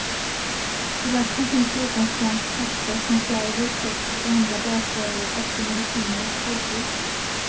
I lasten finns förutom svenskt kaffe, konserver, kex och andra basvaror, också mediciner och sprutor.